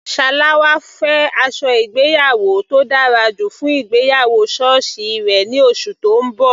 Salawa fẹ́ aṣọ ìgbéyàwó tó dára jù fún ìgbéyàwó sọ́ọ̀sì rẹ̀ ní oṣù tó ń bọ̀.